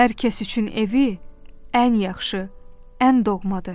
Hər kəs üçün evi ən yaxşı, ən doğmadır.